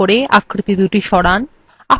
তীর কি গুলি ব্যবহার করে আকৃতিদুটি সরান